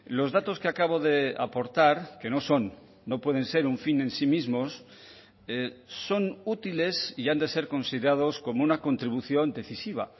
los datos que acabo de aportar que no son no pueden ser un fin en sí mismos son útiles y han de ser considerados como una contribución decisiva